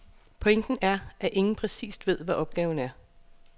Pointen er, at ingen præcist ved, hvad opgaven er.